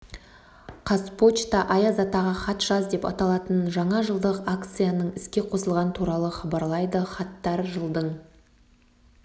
қазпочта аяз атаға хат жаз деп аталатын жаңа жылдық акцияның іске қосылғаны туралы хабарлайды хаттар жылдың